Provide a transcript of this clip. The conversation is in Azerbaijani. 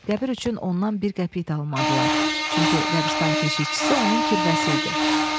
Qəbir üçün ondan bir qəpik də almadılar, çünki qəbiristan keşişçisi onun kirvəsi idi.